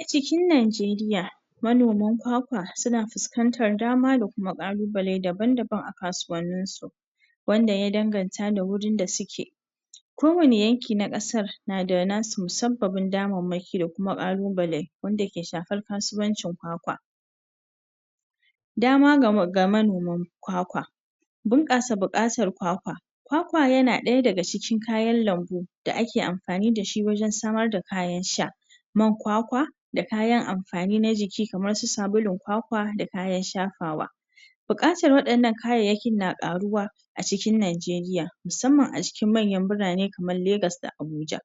A cikin Najeriya manoman kwakwa suna fuskantar dama da kuma ƙalubale daban-daban a kasuwanninsu wanda ya danganta da wurin da suke, kowane yanki na ƙasan na da nasu musabbabin damarmakin da ƙalubale wanda ya ke shafar kasuwanci kwakwa. Dama ga manoman kwakwa, bunƙasa bukatar kwakwa. Kwakwa na ɗaya daga cikin kayan lambu da ake amfani da shi wajen kayan sha man kwakwa da kayan amfani na jiki kamar su sabulun kwakwa da kayan shafawa. Buƙatar waɗannan kayayyakin na ƙaruwa acikin Najeriya musamman a cikin manyan birane kamar Legas da Abuja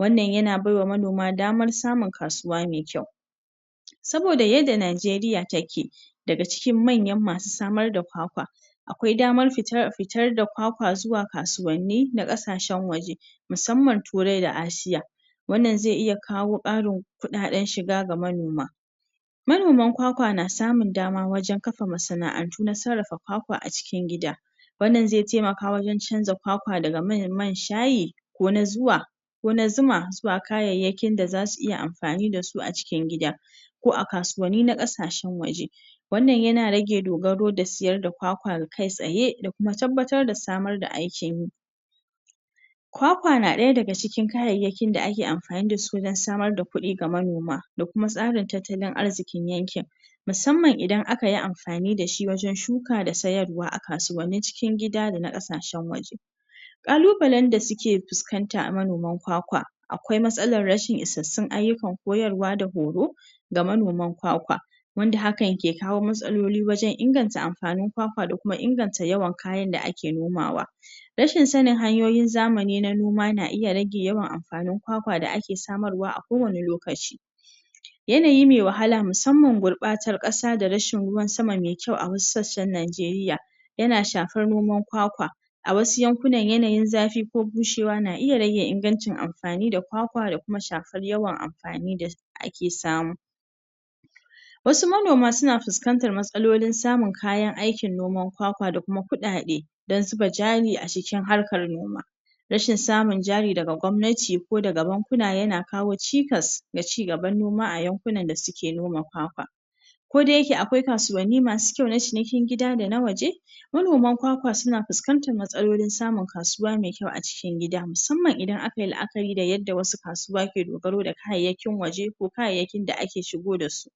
wannan yana baiwa manoma damar samun kasuwa mai kyau, saboda yadda Najeriya take daga cikin manyan masu samar da kwakwa akwai daman fitar da kwakwa zuwa kasuwannin na ƙasashen waje musamman Turai da Asia wannan zai iya kawo ƙarin samun kuɗaɗen shiga ga manoma kwakwa na samun dama wajen kafa masanaʼantun sarrafa kwakwa a cikin gida wanda zai taimaka wajen canza kwakwa daga man shayi ko na zuwa ko na zuma zuwa kayayyakin da suke amfani da su a cikin gida ko a kasuwanni na ƙasashen waje wannan yana rage dogaro da sayar da kwakwa kai tsaye da kuma tabbatar da samar da aikin yi. Kwakwa na ɗaya daga cikin kayayyakin da ake amfani da su dan samar da kudi ga manoma da kuma tsarin tattalin arzikin yankin musamman idan aka yi amfani da shi wajen shuka da sayarwa a kasuwannin cikin gida da na kasashen waje. Kalubalen da suke fuskanta akwai matsalar rashin isassun kayan aiki da horo ga manoman kwakwa wanda hakan ke kawo matsaloli dan inganta amfanin kwakwa da kuma inganta kayan da ake nomawa, rashin sanin hanyoyin zamani na noma na iya rage yawan amfanin kayan gona da ake samu a kowane lokaci. Yanayi mai wahala musamman gurbatan kasa da ruwan sama mai kyau a wassu sassan Najeriya yana shafar noman kwakwa a wassu yankunan yanayin zafi ko bushewa na iya rage ingancin amfani da kwakwa da kuma shafar yawan amfani da ake samu Wassu manoma suna fuskantar matsalolin samun kayan aikin noman kwakwa da kudade dan samun zuba jari a cikin harkan noma rashin samun jari daga gwamnati daga bankuna na kawo cikas ga cigaban noma a yankunan da suke noma kwakwa. Ko da yake akwai kasuwanni masu kyau na cinikin gida da na waje manoman kwakwa na fuskantar samun matsaloli a cikin gida musamman idan aka yi laʼakari da yadda wassu kasuwan masu dogaro da kayayyakin waje ko kayayyakin da aka shigo da su.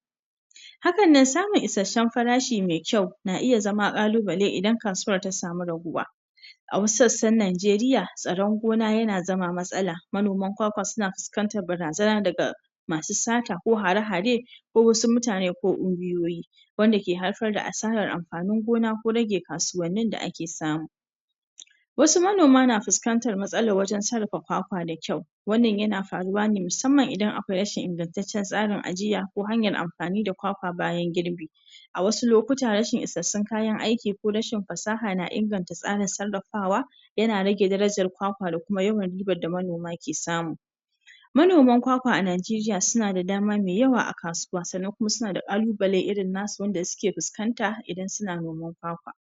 Hakannan samun isasshen farashi mai kyau na iya zama kalubale idan kasuwan ta sami raguwa. A wassu sassan Najeriya tsaron gona na iya zama matsala manoman kwakwa na fuskantar barazana daga masu sata ko hare hare ko wassu mutane ko unguwoyi wanda ke haifar da asarar amfanin gona ko rage amfanin da ake samu. Wassu manoma na fuskantar matsalar wurin sarrafa kwakwa da kyau wannan yana faruwa ne musamman idan akwai rashin ingantaccen tsarin ajiya ko hanyar amfani da kwakwa bayan girbi a wassu lokuta rashin isassun kayan aiki ko rashin fasaha na inganta tsara sarrafawa yana rage daraja kwakwa da kuma ribar da manoma ke samu Manoma musamman a Najeriya suna da dama mai yawa a kasuwa duk da ko suna da kalubale mai yawa irin na su da suke fuskanta idan suna noman kwakwa..